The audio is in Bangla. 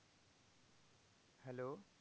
Hello